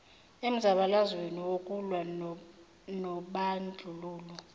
emzabalazweni wokulwa nobandlululo